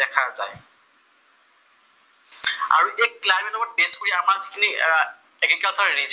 অসমৰ তেজপুৰ আপাতুলিত agriculture region আছে